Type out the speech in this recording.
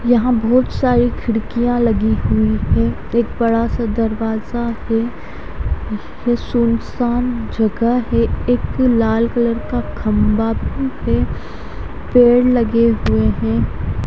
यहां बहुत सारी खिड़कियां लगी हुई है एक बड़ा सा दरवाजा भी सुनसान जगह है एक लाल कलर का खंबा भी पेड़ लगे हुए हैं।